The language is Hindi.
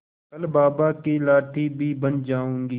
कल बाबा की लाठी भी बन जाऊंगी